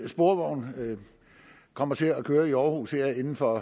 sporvogn kommer til at køre i aarhus her inden for